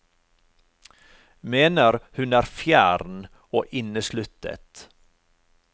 Mener hun er fjern og innesluttet.